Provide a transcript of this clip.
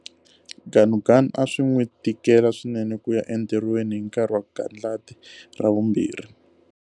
Ganuganu a swi n'wi tikela swinene ku ya entirhweni hi nkarhi wa gandlati ra vumbirhi.